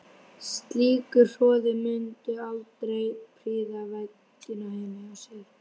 Slíkur hroði mundi aldrei prýða veggina heima hjá mér.